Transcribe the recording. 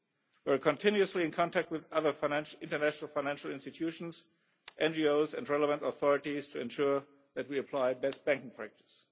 We are continuously in contact with other international financial institutions, NGOs and relevant authorities to ensure that we apply best banking practice.